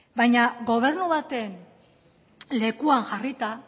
baina gobernu baten lekuan jarrita